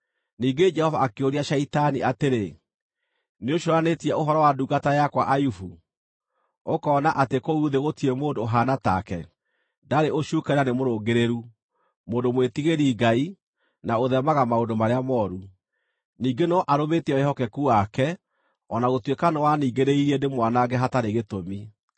Ningĩ Jehova akĩũria Shaitani atĩrĩ, “Nĩũcũũranĩtie ũhoro wa ndungata yakwa Ayubu? Ũkoona atĩ kũu thĩ gũtirĩ mũndũ ũhaana take; ndarĩ ũcuuke na nĩ mũrũngĩrĩru, mũndũ mwĩtigĩri-Ngai na ũtheemaga maũndũ marĩa mooru. Ningĩ no arũmĩtie wĩhokeku wake, o na gũtuĩka nĩwaningĩrĩirie ndĩmwanange hatarĩ gĩtũmi.”